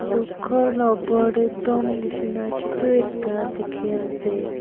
etu ghor laga opor tae tomb neshina chutu ekta dekhi ase.